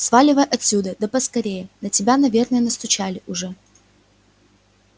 сваливай отсюда да поскорее на тебя наверное настучали уже